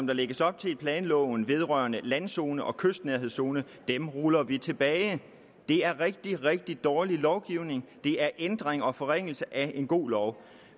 der lægges op til i planloven vedrørende landzone og kystnærhedszone ruller vi tilbage det er rigtig rigtig dårlig lovgivning det er ændringer og forringelser af en god lov